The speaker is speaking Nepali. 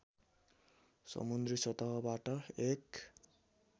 समुद्री सतहबाट एक